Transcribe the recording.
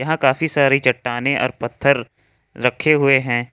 काफी सारी चट्टानें और पत्थर रखे हुए हैं।